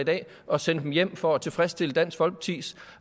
og sende dem hjem for at tilfredsstille dansk folkepartis